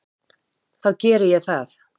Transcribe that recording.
Þá geri ég það.